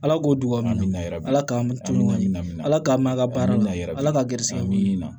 Ala ko duwawu ni ala k'an to ɲɔgɔn ɲɛna ala k'an m'a baara layira ala ka garisigɛ min na